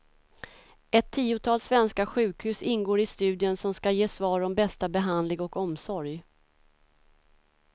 Ett tiotal svenska sjukhus ingår i studien som ska ge svar om bästa behandling och omsorg.